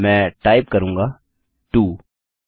मैं टाइप करूँगा टो